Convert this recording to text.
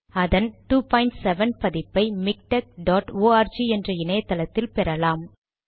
அதன் 27 பதிப்பை Miktek dot org என்ற இணையத்தளத்தில் பெறலாம்